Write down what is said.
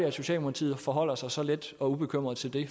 at socialdemokratiet forholder sig så let og ubekymret til det